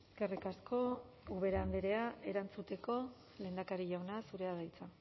eskerrik asko ubera andrea erantzuteko lehendakari jauna zurea da hitza